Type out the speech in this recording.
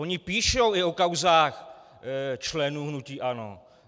Oni píšou i o kauzách členů hnutí ANO.